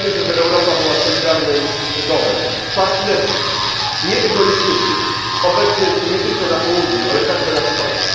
Chcemy, żeby Europa była solidarnym domem, partnerskim, nieegoistycznym, obecnym nie tylko na południu, ale także na wschodzie.